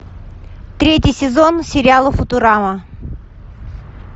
третий сезон сериала футурама